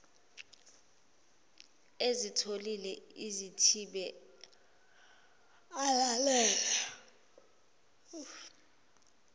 ezothile azithibe alalele